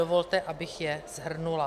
Dovolte, abych je shrnula.